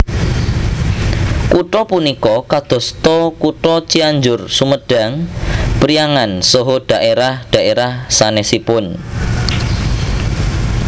Kutha punika kadosta kutha Cianjur Sumedang Priangan saha dhaerah dhaerah sanesipun